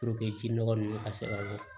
ji nɔgɔ ninnu ka se ka bɔ